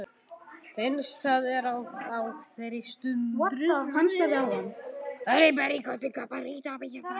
Finnst það á þeirri stund.